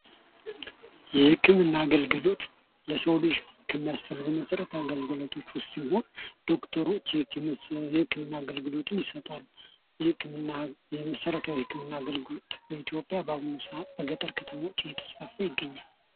የህክምና አገልግሎት ለሰው ልጅ ከሚያስፈልጉት መሠረታዊ አገልግሎቶች ውስጥ ሲሆን ዶክተሮች የህክምና አገልግሎት ይሰጣሉ። የመሠረታዊ የህክምና አገልግሎት በአሁኑ ሰአት በገጠር ከተሞች እየተስፋፋ ይገኛል።